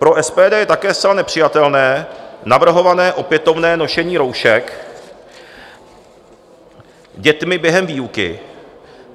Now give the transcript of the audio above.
Pro SPD je také zcela nepřijatelné navrhované opětovné nošení roušek dětmi během výuky.